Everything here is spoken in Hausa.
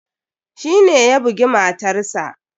Shi ne ya bugi matarsa.